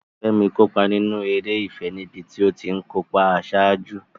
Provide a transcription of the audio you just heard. Fẹ́mi kópa nínú eré ìfẹ́ níbi tó ti ń kó ipa àṣáájú.